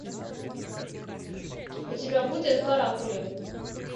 у тебя будет каракули